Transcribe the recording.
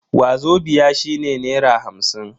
Wazobia shine naira hamsin.